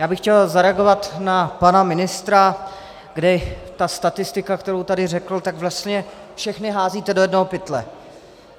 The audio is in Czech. Já bych chtěl zareagovat na pana ministra, kdy ta statistika, kterou tady řekl, tak vlastně všechny házíte do jednoho pytle.